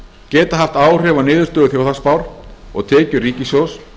geta haft áhrif á niðurstöðu þjóðhagsspár og tekjur ríkissjóðs